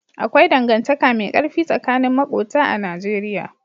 Akwai dangantaka mai ƙarfi tsakanin maƙota a Najeriya.